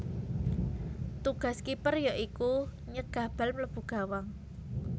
Tugas kiper ya iku nyegah bal mlebu gawang